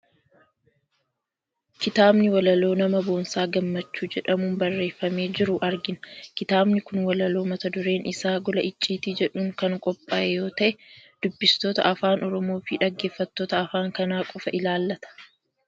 Kitaaba walaloo nama Boonsaa Gammachuu jedhamuun barreeffamee jiru argina. Kitaabni kun walaloo mata dureen isaa Gola icciitii jedhuun kan qophaa'e yoo ta'e, dubbistoota afaan Oromoo fi dhaggeeffattoota afaan kana qofa ilaallata.